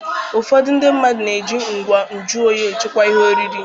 Ụfọdụ ndị mmadụ na-eji ngwa nju oyi echekwa ihe oriri.